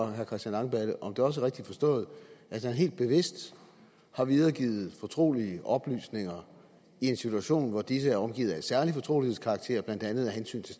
herre christian langballe om det også er rigtigt forstået at han helt bevidst har videregivet fortrolige oplysninger i en situation hvor disse er omgivet af særlig fortrolighedskarakter blandt andet af hensyn til